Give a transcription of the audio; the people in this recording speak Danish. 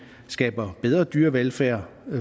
skaber bedre dyrevelfærd